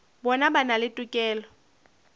bona ba na le tokelo